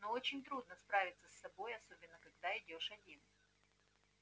но очень трудно справиться с собой особенно когда идёшь один